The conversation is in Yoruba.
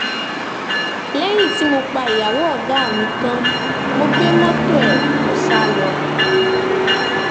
lẹ́yìn tí mo pa ìyàwó ọ̀gá mi tán mo gbé mọ́tò ẹ̀ mo sá lọ